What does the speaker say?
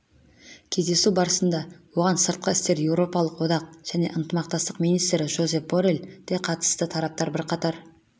кездесу барысында оған сыртқы істер еуропалық одақ және ынтымақтастық министрі жозеп борелл де қатысты тараптар бірқатар